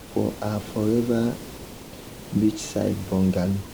for her forever beachside bungalow.